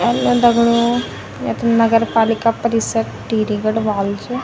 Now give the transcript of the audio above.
दगड़ियों यख नगर पालिका परिषद टिहरी गढ़वाल च।